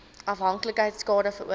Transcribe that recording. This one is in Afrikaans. afhanklikheid skade veroorsaak